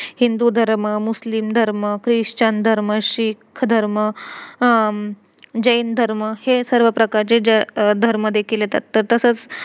माझीच appointment होती रोहितची appointment नव्हती तरीपण त्याला मी घेतलं चल भाई माझ्यासोबत चल तू.